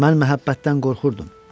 Mən məhəbbətdən qorxurdum.